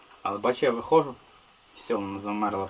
Amma bax, mən çıxanda, vəssalam, dondu.